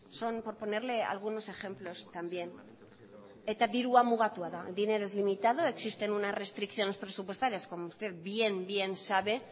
son por ponerle algunos ejemplos también eta dirua mugatua da el dinero es limitado existen unas restricciones presupuestarias como usted bien bien sabe